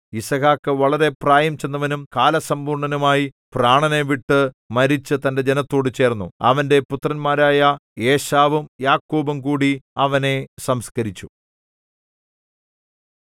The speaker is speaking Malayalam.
യിസ്ഹാക്ക് വളരെ പ്രായംചെന്നവനും കാലസമ്പൂർണ്ണനുമായി പ്രാണനെ വിട്ടു മരിച്ചു തന്റെ ജനത്തോടു ചേർന്നു അവന്റെ പുത്രന്മാരായ ഏശാവും യാക്കോബും കൂടി അവനെ സംസ്കരിച്ചു